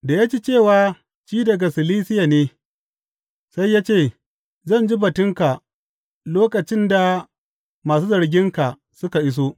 Da ya ji cewa shi daga Silisiya ne, sai ya ce, Zan ji batunka lokacin da masu zarginka suka iso.